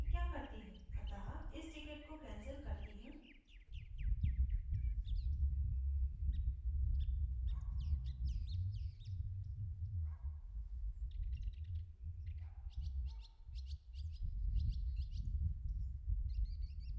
अतः इस ticket को cancel करती हूँ